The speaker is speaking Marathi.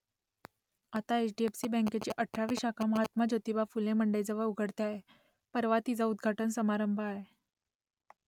आता एच डी एफ सी बँकेची अठरावी शाखा महात्मा ज्योतिबा फुले मंडईजवळ उघडते आहे . परवा तिचा उद्घाटन समारंभ आहे